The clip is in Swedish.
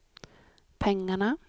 pengarna